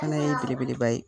fana ye belebeleba ye.